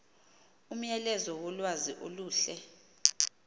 umyalezo wolwazi oluhle